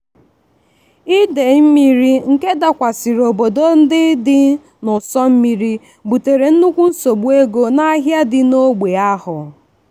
idei mmiri ndị dakwasịrị obodo ndị dị n'ụsọ mmiri butere nnukwu nsogbu ego n'ahịa dị n'ógbè ahụ.